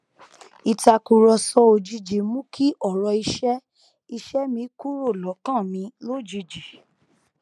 ìtàkùrọsọ òjijì mú kí ọrọ iṣẹ iṣẹ mi kúrò lọkàn mi lójijì